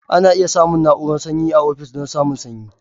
Ana iya samun na'urar sanyi a ofis don samun sanyi.